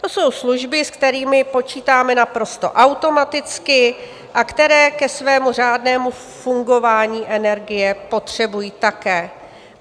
To jsou služby, s kterými počítáme naprosto automaticky a které ke svému řádnému fungování energie potřebují také.